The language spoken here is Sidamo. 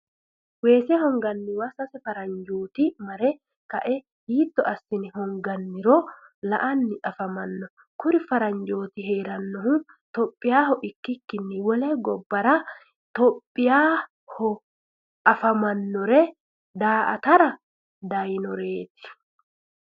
wesse honganniwa sase faranjooti mare ka'e hiitonni asinne honganiro la'anni afamanno kuri faranjooti heerannohu ithihopiyaho ikikinni wole gobaraati ithihopiyaaho afamanore daa'atara dayinoreeti.